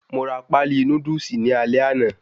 Mo ra páálí Núdúsì ní alé àná